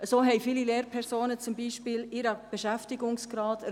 Das muss ich Ihnen einfach sagen.